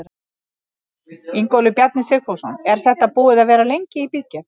Ingólfur Bjarni Sigfússon: Er þetta búið að vera lengi í bígerð?